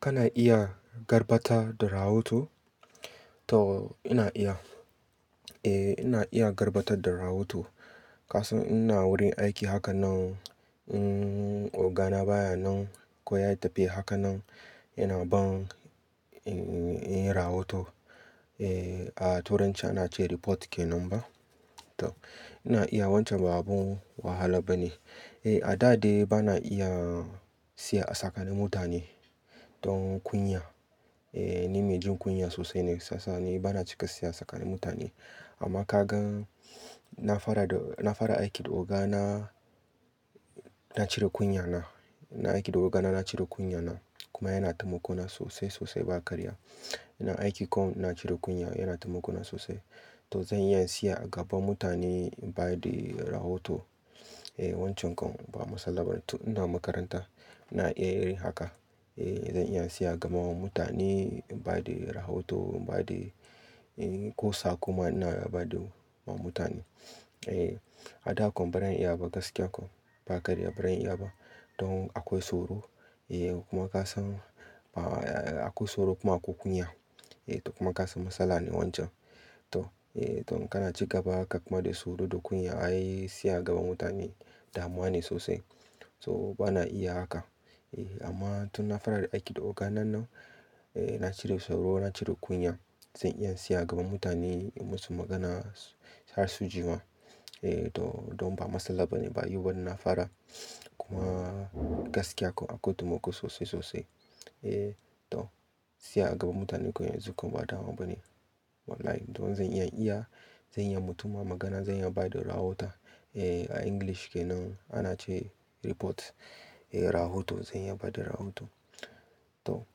Kana iya garbata da rahoto? To ina iya. Eh ina iya garbatar da rahoto. Kasan ina wurin aiki haka nan, ogana baya nan, ko ya tafiya haka nan, yana ban, ina yi rahoto. Eh a turanci ana ce report kenan ba. To ina iya wancan babu wahala bane. A da dai bana iya siya a tsakani mutane don kunya. Eh ni mai jin kunya sosai ne sasa ne bana cika siya tsakani mutane. Amma ka gan na fara da, na fara aiki da ogana na cire kunya na. Na aiki da ogana na cire kunya na kuma yana taimako na sosai sosai ba karya. Ina aiki kawai na cire kunya yana taimako na sosai. To zan iya siya gaban mutane ba da rahoto. Eh wancan kawai ba matsala ba. To ina makaranta ina iya yin haka. Eh zan iya siya gama wa mutane ba da rahoto ba da, ko sa ko ma ina ba da wa mutane. Eh a da kam baran iya ba gaskiya kam ba karya baran iya ba. Don akwai tsoro. Eh kuma ka san akwai tsoro kuma akwai kunya. Eh to kuma kasan matsala ne wancan. To, eh to in kana ci gaba haka kuma da tsoro da kunya, ai siya gaban mutane damuwa ne sosai. To bana iya haka. Eh amma tun na fara aiki da ogana nan, eh na cire tsoro na cire kunya. Zan iya siya gaban mutane in masu magana, harsu jima. Eh to don ba matsala bane, ba yau bane na fara. Kuma gaskiya kawai akwai taimako sosai sosai. Eh to siya gaban mutane koyanzu kam ba damuwa bane. Wallahi to zan iya iya, zan iya mutum magana, zan iya ba da rahoto. Eh a English kenan ana ce report. Eh rahoto zan iya ba da rahoto. To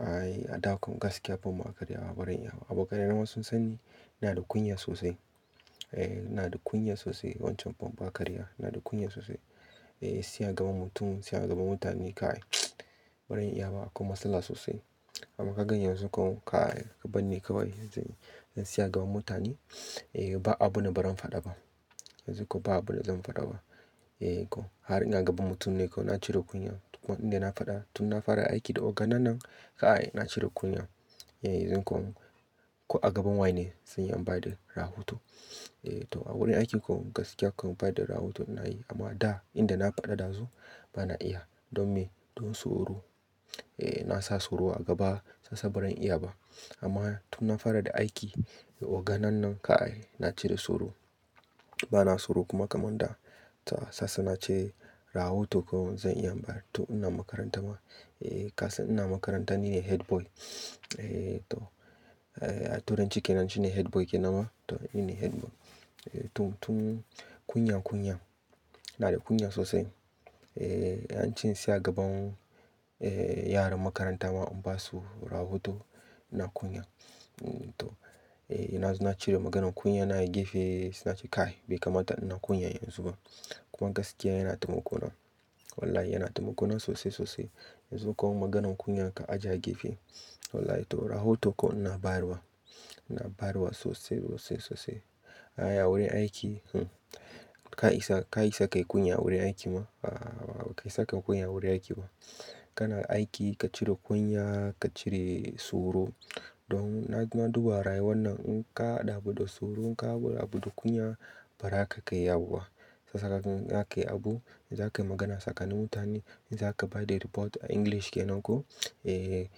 ai a da kam gaskiya ban ma karya, barin iya ba. A bokaina wasu sun sanni ina da kunya sosai. Eh ina da kunya sosai wancan ban ba karya. Ina da kunya sosai. Eh siya gaban mutum, siya gaban mutane kai, barin iya ba akwai matsala sosai. Amma ka gani yanzu kawai kai, ka banne kawai zai yi. Zan siya gaban mutane, eh ba abu na barin fada ba. Yanzu kuwa ba abu na zan fada ba. Eh ko har ina gaban mutum ne ko na cire kunya. Kuma inda na fada tun na fara aiki da ogana nan kai na cire kunya. Yanzu kawai ko a gaban wane zan iya ba da rahoto. Eh to a wurin aiki kawai gaskiya kawai ba da rahoto na yi. Amma da inda na fada dazu bana iya don me? Don tsoro. Eh na sa tsoro a gaba sasa barin iya ba. Amma tun na fara da aiki da ogana nan kai na cire tsoro. Bana tsoro kuma kaman da ta sasa nace rahoto kawai zan iya mbara. To ina makaranta ma. Eh kasan ina makaranta nine headboy. Eh to, eh a turanci kenan shine headboy kenan ma. To nine headboy. To tun kunya kunya, ina da kunya sosai. Eh an ce siya gaban, eh yaran makaranta ma in basu rahoto ina kunya. To, eh ina cire maganan kunya na a gefe, nace kai bai kamata ina kunya yanzu ba. Kuma gaskiya yana taimako na. Wallahi yana taimako na sosai sosai. Yanzu kawai maganan kunya ka ajiye a gefe. Wallahi to rahoto kawai ina bayarwa. Ina bayarwa sosai sosai sosai. Ai wurin aiki, ka isa, ka isa ka yi kunya a wurin aiki ma? A'a ba ka isa ka yi kunya a wurin aiki ba. Kana aiki ka cire kunya, ka cire tsoro. Don na duba rayuwar nan in ka dabu da tsoro, in ka abu da kunya, bara ka kai yi abu ba. Sasa zaka gan in zakayi abu, in zakayi magana tsakani mutane, in zaka ba da report a English kenan ko. Eh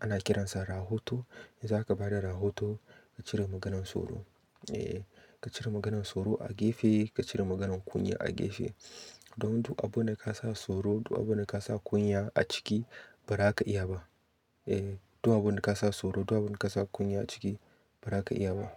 ana kiransa rahoto. In zaka bada rahoto ka cire maganan tsoro. Eh ka cire maganan tsoro a gefe, ka cire maganan kunya a gefe. Don duk abu da ka sa tsoro, duk abu da ka sa kunya a ciki, bara ka iya ba. Eh duk abu da ka sa tsoro, duk abu da ka sa kunya a ciki, bara ka iya ba.